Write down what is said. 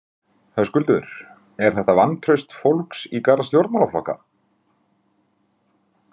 Höskuldur: Er þetta vantraust fólks í garð stjórnmálaflokka?